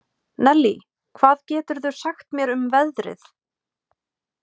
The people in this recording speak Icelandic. Nellý, hvað geturðu sagt mér um veðrið?